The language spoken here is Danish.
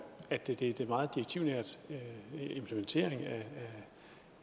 at det det er en meget direktivnær implementering